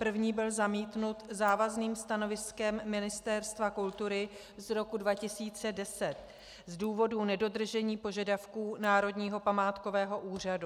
První byl zamítnut závazným stanoviskem Ministerstva kultury z roku 2010 z důvodu nedodržení požadavků Národního památkového úřadu.